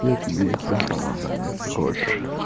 я тебе их даром отдам если хочешь